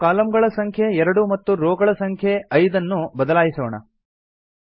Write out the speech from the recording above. ನಾವು ಕಾಲಮ್ ಗಳ ಸಂಖ್ಯೆ ೨ ಮತ್ತು ರೋ ಗಳ ಸಂಖ್ಯೆ ೫ ಎಂದು ಬದಲಾಯಿಸೋಣ